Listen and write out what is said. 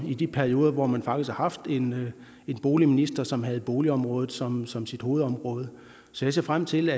i de perioder hvor man faktisk har haft en boligminister som havde boligområdet som som sit hovedområde så jeg ser frem til